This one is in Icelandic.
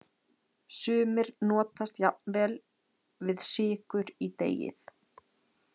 Sumir notast jafnvel við sykur í deigið.